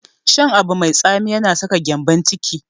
Shan abu mai tsami yana saka gyambon ciki.